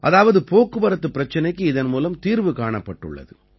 அதாவது போக்குவரத்துப் பிரச்சனைக்கு இதன் மூலம் தீர்வு காணப்பட்டுள்ளது